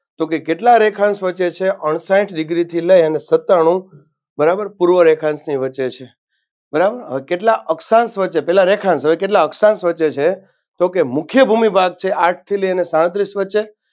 તો કે કેટલા રેખાંશ વચ્ચે છે અણસાઈઠ Degree થી લઈ અને સત્તાણુ બરાબર પૂર્વ રેખાંશની વચ્ચે છે. બરાબર હવે કેટલા અક્ષાંશ વચ્ચે પેલા રેખાંશ હવે અક્ષાંશ વચ્ચે છે તો કે મુખ્ય ભૂમિ ભાગ છે આઠથી લઈને સાડત્રીશ વચ્ચે